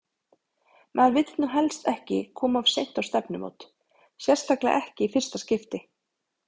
Maður vill nú helst ekki koma of seint á stefnumót, sérstaklega ekki í fyrsta skipti!